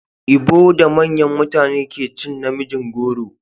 Ibo da manyan mutane ne ke cin na mijin goro.